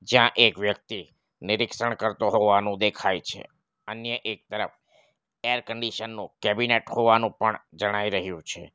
જ્યાં એક વ્યક્તિ નિરીક્ષણ કરતો હોવાનું દેખાય છે અન્ય એક તરફ એર કન્ડિશન નું કેબિનેટ હોવાનું પણ જણાઈ રહ્યું છે.